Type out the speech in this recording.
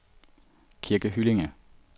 Kirke Hyllinge